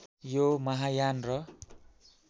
यो महायान र